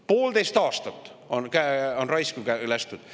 Poolteist aastat on raisku lastud.